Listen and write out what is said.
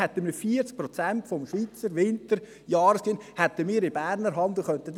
Damit hätten wir 40 Prozent des Schweizer Winter-Jahresgewinns in Berner Hand und könnten das dealen.